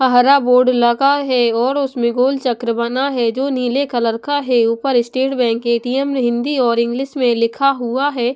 हरा बोर्ड लगा है और उसमें गोल चक्र बना है जो नीले कलर का है ऊपर स्टेट बैंक ए_टी_एम हिंदी और इंग्लिश में लिखा हुआ है।